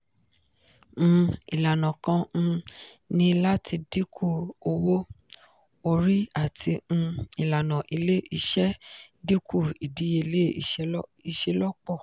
um ilana kan um ni lati dinku owo-ori ati um ilana ile-iṣẹ dinku idiyele iṣelọpọ.